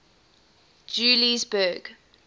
juliesburg